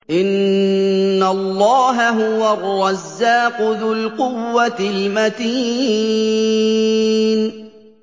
إِنَّ اللَّهَ هُوَ الرَّزَّاقُ ذُو الْقُوَّةِ الْمَتِينُ